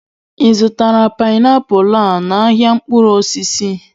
Ị zụtara painiapulu a n'ahịa mkpụrụ osisi?